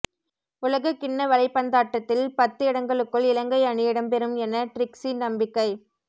உலகக் கிண்ண வலைபந்தாட்டத்தில் பத்து இடங்களுக்குள் இலங்கை அணி இடம்பெறும் என ட்ரிக்ஸி நம்பிக்கை